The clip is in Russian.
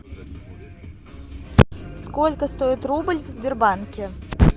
сколько стоит рубль в сбербанке